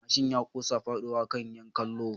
Mashin ya kusa fadowa kan 'yan kallo